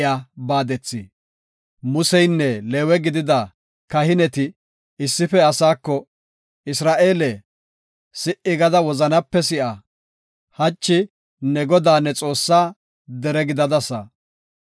Museynne Leewe gidida kahineti issife asaako, “Isra7eele, si77i gada wozanape si7a; hachi ne Godaa, ne Xoossaa dere gidadasa.